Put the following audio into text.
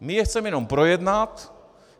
My je chceme jenom projednat.